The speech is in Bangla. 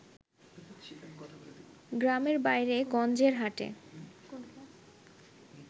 গ্রামের বাইরে গঞ্জের হাটে